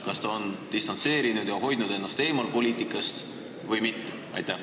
Kas ta on ennast distantseerinud ja hoidnud poliitikast eemal või mitte?